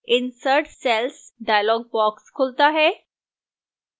insert cells dialog box खुलता है